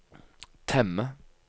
temme